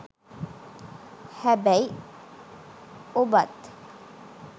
හැබැයි ඔබත්